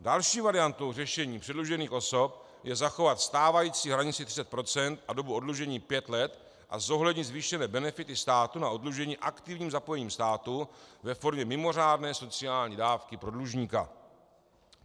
Další variantou řešení předlužených osob je zachovat stávající hranici 30 % a dobu oddlužení pět let a zohlednit zvýšené benefity státu na oddlužení aktivním zapojením státu ve formě mimořádné sociální dávky pro dlužníka.